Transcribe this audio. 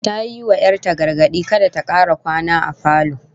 Ta yi wa 'yar ta gargadi kada ta kara kwana a falo